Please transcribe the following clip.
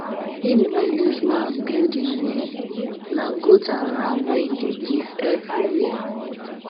him no use mouth build him um name na goat and um ram wey he dey give every year